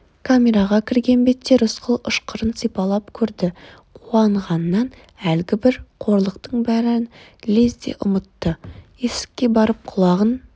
камераға кірген бетте рысқұл ышқырын сипалап көрді қуанғаннан әлгібір қорлықтың бәрін лезде ұмытты есікке барып құлағын